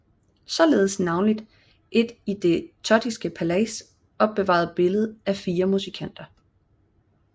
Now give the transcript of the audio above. Således navnlig et i det Thottske Palais opbevaret billede af fire musikanter